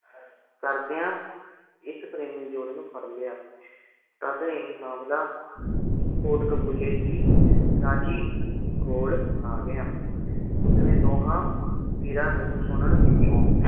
ਕਰਦਿਆਂ ਇਸ ਪ੍ਰੇਮੀ ਜੋੜੇ ਨੂੰ ਫੜ ਲਿਆ ਤਦ ਇਹ ਮਾਮਲਾ ਕੋਟਕਬੂਲੇ ਦੀ ਰਾਜੀ ਕੋਲ ਆ ਗਿਆ ਉਸਨੇ ਦੋਹਾਂ ਪੀਰਾਂ ਨੂੰ ਸੁਨਣ ਪਿੱਛੋਂ